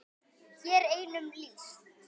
Hér er einum lýst.